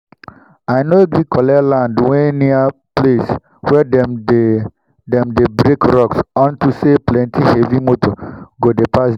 i nor gree collect land wen near place wen dem dey dem dey break rocks unto say plenti heavy moto go dey pass der